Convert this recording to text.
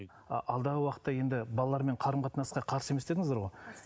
а алдағы уақытта енді балалармен қарым қатынасқа қарсы емес дедіңіздер ғой